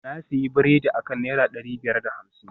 na sayi biredi akan naira dari biyar da hamsin